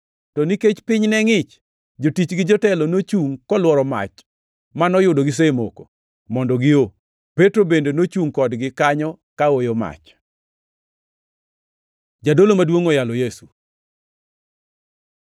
To nikech piny ne ngʼich, jotich gi jotelo nochungʼ kolworo mach manoyudo gisemoko mondo gio. Petro bende nochungʼ kodgi kanyo kaoyo mach. Jadolo maduongʼ oyalo Yesu